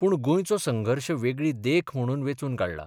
पूण गोंयचो संघर्श वेगळी देख म्हणून वेंचून काडला.